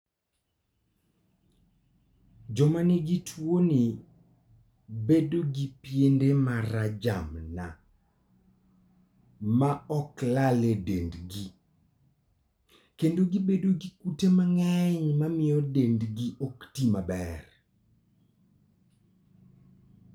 Joma nigi tuoni bedo gi piende ma rajamna ma ok lal e dendgi, kendo gibedo gi kute mang'eny ma miyo dendgi ok ti maber.